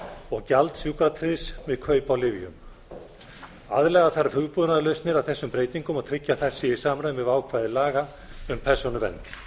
og gjald sjúkratryggðs við kaup á lyfjum aðlaga þarf hugbúnaðarlausnir að þessum breytingum og tryggja að þær séu í samræmi við ákvæði laga um persónuvernd